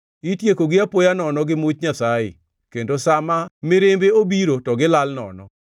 Itiekogi apoya nono gi much Nyasaye; kendo sa ma mirimbe obiro to gilal nono.